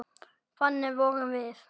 Þannig vorum við.